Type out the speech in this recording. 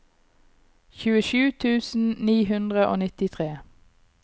tjuesju tusen ni hundre og nittitre